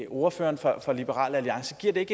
ordføreren for liberal alliance giver det